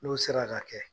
N'u sera ka kɛ